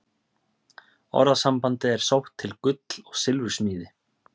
Orðasambandið er sótt til gull- og silfursmíði.